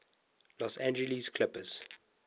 los angeles clippers